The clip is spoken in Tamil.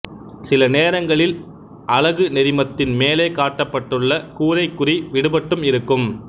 சில நேரங்களில் அலகு நெறிமத்தின் மேலே காட்டப்பட்டுள்ள கூரைக் குறி விடுபட்டும் இருக்கும்